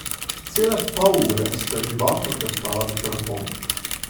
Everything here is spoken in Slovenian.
Cele pol ure sta živahno klepetala po telefonu.